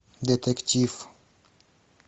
детектив